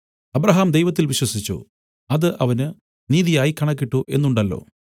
Abraham ദൈവത്തിൽ വിശ്വസിച്ചു അത് അവന് നീതിയായി കണക്കിട്ടു എന്നുണ്ടല്ലോ